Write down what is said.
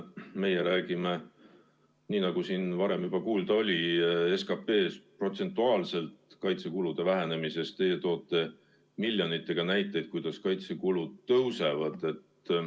Meie räägime nii, nagu siin varem juba kuulda oli, SKP‑st, protsentuaalsest kaitsekulude vähenemisest, teie toote miljonite abil näiteid, kuidas kaitsekulud tõusevad.